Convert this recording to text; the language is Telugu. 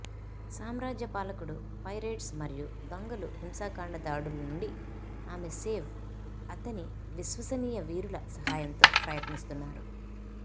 సామ్రాజ్య పాలకుడు పైరేట్స్ మరియు దొంగలు హింసాకాండ దాడుల నుండి ఆమె సేవ్ అతని విశ్వసనీయ వీరుల సహాయంతో ప్రయత్నిస్తున్నారు